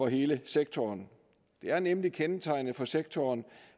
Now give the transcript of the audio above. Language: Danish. hele sektoren det er nemlig kendetegnende for sektoren